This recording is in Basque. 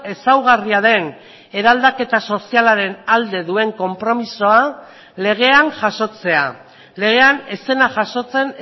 ezaugarria den eraldaketa sozialaren alde duen konpromisoa legean jasotzea legean ez zena jasotzen